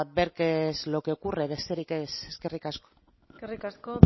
ver qué es lo que ocurre besterik ez eskerrik asko eskerrik asko